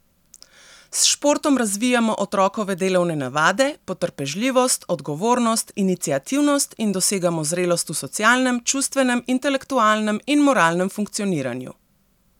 S športom razvijamo otrokove delovne navade, potrpežljivost, odgovornost, iniciativnost in dosegamo zrelost v socialnem, čustvenem, intelektualnem in moralnem funkcioniranju.